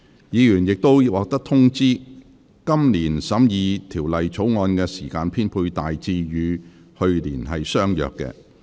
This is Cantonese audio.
議員已獲通知，今年審議《條例草案》的時間編配大致與去年相若。